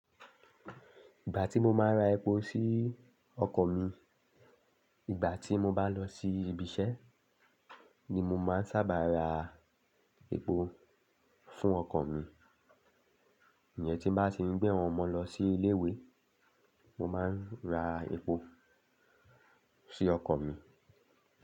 Ìgbà tí mo máa ń ra epo sí ọkọ̀ mi, ìgbà tí mo bá lọ sí ibi iṣẹ́ ni mo máa ń sábà ra epo fún ọkọ̀ mi. Tí n bá ti ń gbé àwọn ọmọ lọ sí ilé ìwé, mo máa ń ra epo sí ọkọ̀ mi.